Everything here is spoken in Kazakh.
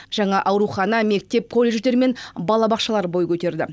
жаңа аурухана мектеп колледждер мен балабақшалар бой көтерді